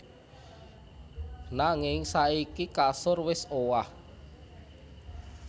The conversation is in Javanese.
Nanging saiki kasur wis owah